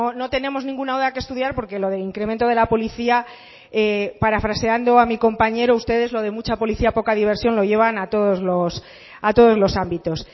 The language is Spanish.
no tenemos ninguna duda que estudiar porque lo del incremento de lo de la policía parafraseando a mi compañero ustedes lo de mucha policía poca diversión lo llevan a todos los ámbitos